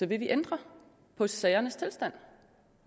vil vi ændre på sagernes tilstand